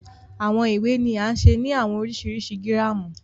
Awọn iwe ni a ṣe ni awọn oriṣiriṣi giramu